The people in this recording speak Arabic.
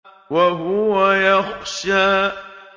وَهُوَ يَخْشَىٰ